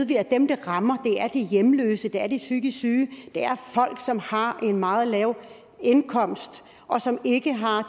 vi at dem det rammer er de hjemløse og det er de psykisk syge det er folk som har en meget lav indkomst og som ikke har